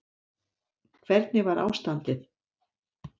Hvernig var ástandið?